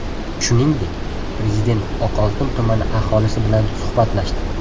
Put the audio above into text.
Shuningdek, Prezident Oqoltin tumani aholisi bilan suhbatlashdi .